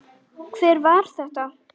Hver var þetta?